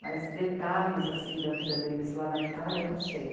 Mas detalhes assim da vida deles lá na Itália eu não sei.